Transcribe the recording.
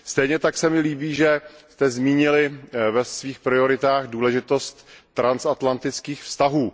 Stejně tak se mi líbí, že jste zmínili ve svých prioritách důležitost transatlantických vztahů.